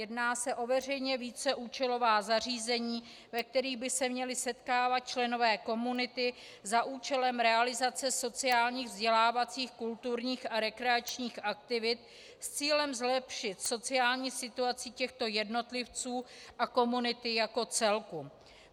Jedná se o veřejná víceúčelová zařízení, ve kterých by se měli setkávat členové komunity za účelem realizace sociálních, vzdělávacích, kulturních a rekreačních aktivit s cílem zlepšit sociální situaci těchto jednotlivců a komunity jako celku.